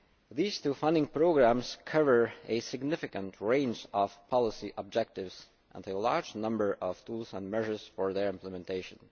These two funding programmes cover a significant range of policy objectives and a large number of tools and measures for their implementation.